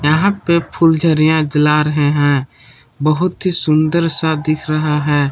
यहां पे फुलझड़ियां जला रहे हैं बहुत ही सुंदर सा दिख रहा है।